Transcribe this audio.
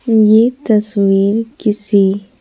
ये तस्वीर किसी--